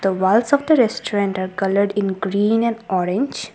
the walls of the restaurant are coloured in green and orange.